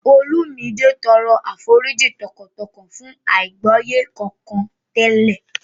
Olumide tọrọ àforíjì tọkàntọkàn fún àìgbọ́yé kankan tẹ́lẹ̀